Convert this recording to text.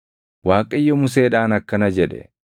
Waaqayyo Museedhaan akkana jedhe;